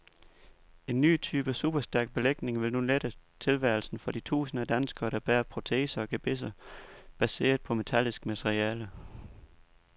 En ny type superstærk belægning vil nu lette tilværelsen for de tusinder af danskere, der bærer proteser og gebisser baseret på metallisk materiale.